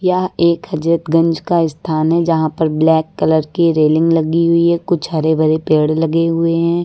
यह एक हजरतगंज का स्थान है जहां पर ब्लैक कलर की रेलिंग लगी हुई है कुछ हरे भरे पेड़ लगे हुए हैं।